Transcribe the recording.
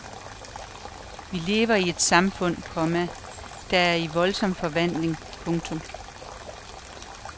Vi lever i et samfund, komma der er i voldsom forvandling. punktum